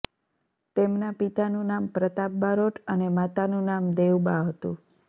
તેમના પિતાનું નામ પ્રતાપ બારોટ અને માતાનું નામ દેવબા હતું